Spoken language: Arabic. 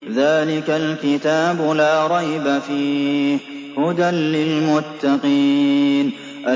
ذَٰلِكَ الْكِتَابُ لَا رَيْبَ ۛ فِيهِ ۛ هُدًى لِّلْمُتَّقِينَ